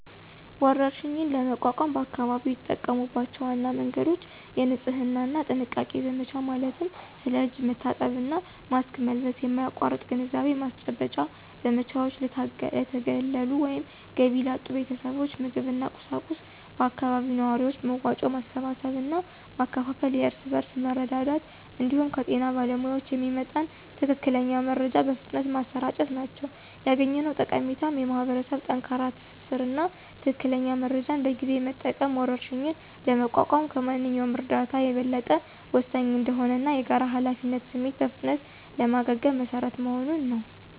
ወረርሽኝን ለመቋቋም በአካባቢው የተጠቀሙባቸው ዋና መንገዶች: የንጽህና እና ጥንቃቄ ዘመቻ ማለትም ስለ እጅ መታጠብ እና ማስክ መልበስ የማያቋርጥ ግንዛቤ ማስጨበጫ ዘመቻዎች፣ ለተገለሉ ወይም ገቢ ላጡ ቤተሰቦች ምግብና ቁሳቁስ በአካባቢው ነዋሪዎች መዋጮ ማሰባሰብ እና ማከፋፈል (የእርስ በርስ መረዳዳት) እንዲሁም ከጤና ባለሙያዎች የሚመጣን ትክክለኛ መረጃ በፍጥነት ማሰራጨት ናቸው። ያገኘነው ጠቀሜታም የማኅበረሰብ ጠንካራ ትስስር እና ትክክለኛ መረጃን በጊዜ መጠቀም ወረርሽኝን ለመቋቋም ከማንኛውም እርዳታ የበለጠ ወሳኝ እንደሆነ እና የጋራ ኃላፊነት ስሜት በፍጥነት ለማገገም መሰረት መሆኑን ነው።